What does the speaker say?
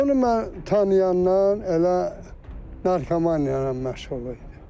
Onu mən tanıyandan elə narkomaniya ilə məşğul idi.